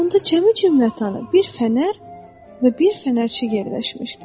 Onda cəmi-cümlətanı bir fənər və bir fənərçi yerləşmişdi.